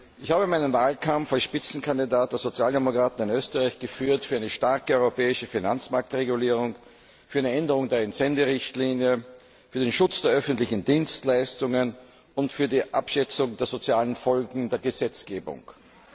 Ich habe meinen Wahlkampf als Spitzenkandidat der Sozialdemokraten in Österreich für eine starke europäische Finanzmarktregulierung, für eine Änderung der Entsenderichtlinie, für den Schutz der öffentlichen Dienstleistungen und für die Abschätzung der sozialen Folgen der Gesetzgebung geführt.